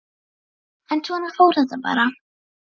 En svona fór þetta bara.